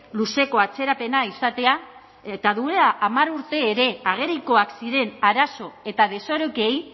luzeko atzerapena izatea eta duela hamar urte ere agerikoak ziren arazo eta desorekei